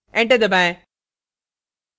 enter दबाएं